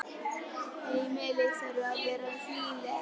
Heimili þurfa að vera hlýleg.